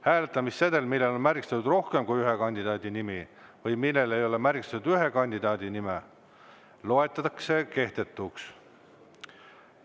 Hääletamissedel, millel on märgistatud rohkem kui ühe kandidaadi nimi või millel ei ole märgistatud ühegi kandidaadi nime, loetakse kehtetuks.